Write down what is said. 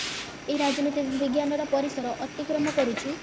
ଏଇ ରାଜନୀତି ବିଜ୍ଞାନ ର ପରିସର ଅତିକ୍ରମ କରୁଚି